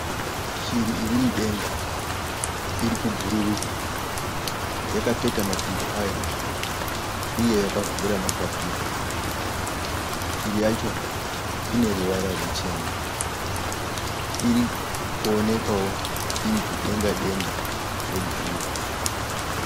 Shiri iri mudenga. Iri kubhururuka. Yakapeta makumbo ayo uye yakavhura mapapiro. Shiri yacho ine ruvara ruchena. Iri kuonekawo iri kudenga denga rebhuruu.